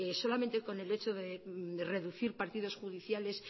solamente con el hecho de reducir partidos judiciales